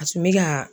A tun bɛ ka